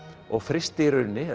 og frysti í rauninni